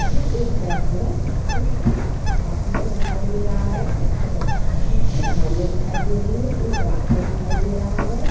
यह एक द्रश्य है जिसपे आसमान दिखाई दे रहा है और पिछे पहाड़िया दिखाई दे रही है एक रास्ता दिखाई दे रहा है।